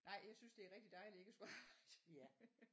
Nej jeg synes det er rigtig dejligt ikke at skulle arbejde